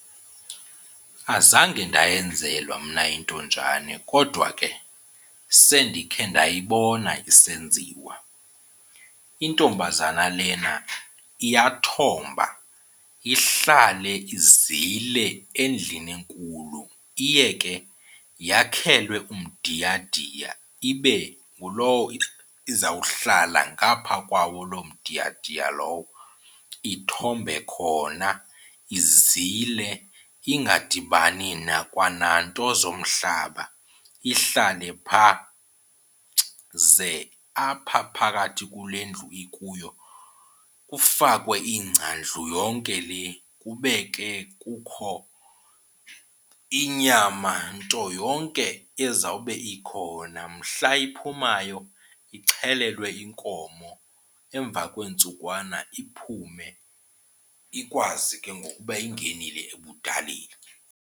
Azange ndayenzelwa mna intonjane kodwa ke sendikhe ndayibona isenziwa. Intombazana lena iyathomba ihlale izile endlini enkulu. Iye ke yakhelwe umdiyadiya, ibe ngulowo izawuhlala ngapha kwawo lo mdiyadiya lowo, ithombe khona, izile ingadibani nakwa nanto zomhlaba ihlale phaa. Ze apha phakathi kule ndlu ikuyo kufakwe ingca ndlu yonke le, kube ke kukho inyama nto yonke ezawube ikhona. Mhla iphumayo ixhelelwe inkomo, emva kweentsukwana iphume ikwazi ke ngoku uba ingenile ebudaleni.